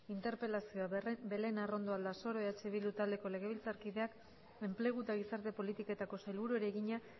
interpelazioa belén arrondo aldasoro eh bildu taldeko legebiltzarkideak enplegu eta gizarte politiketako sailburuari egina